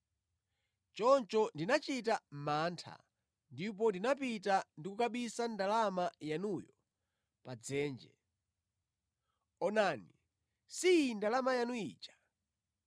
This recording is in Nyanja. Choncho ndinachita mantha ndipo ndinapita ndi kukabisa ndalama yanuyo pa dzenje. Onani, si iyi ndalama yanu ija.’